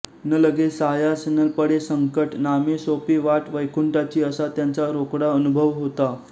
न लगे सायास न पडे संकट नामे सोपी वाट वैकुंठाची असा त्यांचा रोकडा अनुभव होता